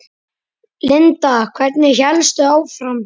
Linda: Hvernig hélstu áfram?